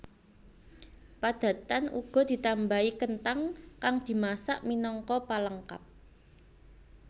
Padatan uga ditambahi kenthang kang dimasak minangka palengkap